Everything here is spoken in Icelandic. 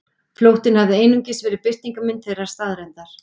Flóttinn hafði einungis verið birtingarmynd þeirrar staðreyndar.